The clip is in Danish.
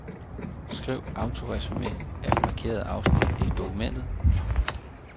Skriv autoresumé af markerede afsnit i dokumentet.